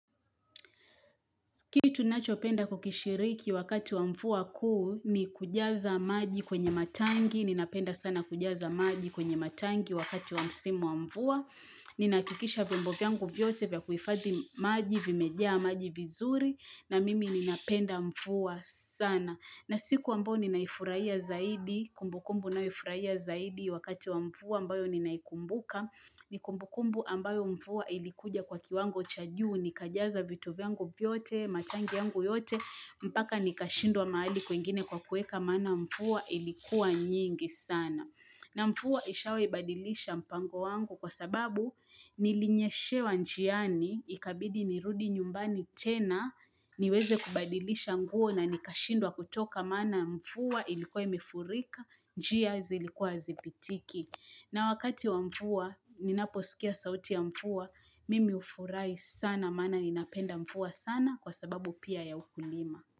Kitu ninachopenda kukishiriki wakati wa mvua kuu ni kujaza maji kwenye matangi. Ninapenda sana kujaza maji kwenye matangi wakati wa msimu wa mvua. Ninahakikisha vymbo vyangu vyote vya kuhifadhi maji, vimejaa maji vizuri. Na mimi ninapenda mfuwa sana. Na siku ambao ninaifurahia zaidi, kumbukumbu naifurahia zaidi wakati wa mvua ambayo ninaikumbuka. Ni kumbukumbu ambayo mvua ilikuja kwa kiwango cha juu. Nikajaza vitu vyangu vyote, matangi yangu yote, mpaka nikashindwa mahali kwingine kwa kuweka maana mvua ilikuwa nyingi sana. Na mvua ishawahi badilisha mpango wangu kwa sababu nilinyeshewa njiani, ikabidi nirudi nyumbani tena, niweze kubadilisha nguo na nikashindwa kutoka maana mvua ilikuwa imefurika, njia zilikuwa hazipitiki. Na wakati wa mvua, ninaposikia sauti ya mvua, mimi hufurahi sana maana ninapenda mvua sana kwa sababu pia ya ukulima.